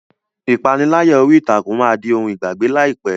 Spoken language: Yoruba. Ìpániláyà orí ìtàkùn máa di ohun ìgbàgbé láìpẹ́.